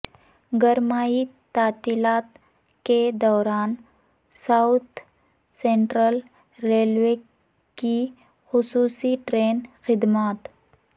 گرمائی تعطیلات کے دوران ساوتھ سنٹرل ریلوے کی خصوصی ٹرین خدمات